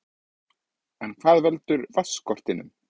En hvað veldur vatnsskortinum?